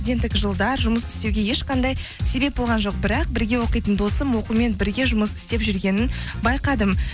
ендігі жылдар жұмыс істеуге ешқандай себеп болған жоқ бірақ бірге оқитын досым оқумен бірге жұмыс істеп жүргенін байқадым